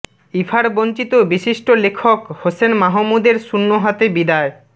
ইফার বঞ্চিত বিশিষ্ট লেখক হোসেন মাহমুদের শূন্য হাতে বিদায়